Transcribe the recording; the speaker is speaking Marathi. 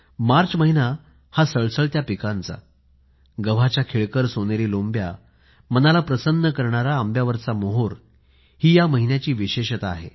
मार्च महिना सळसळत्या पिकांचा आम्र मंजिरीची पुलकित करणारी शोभा हे या महिन्याचे वैशिष्ट्य आहे